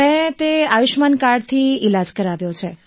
મેં તે આયુષ્યમાન કાર્ડથી ઈલાજ કરાવ્યો છે